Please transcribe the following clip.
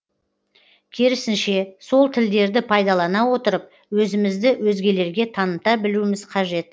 керісінше сол тілдерді пайдалана отырып өзімізді өзгелерге таныта білуіміз қажет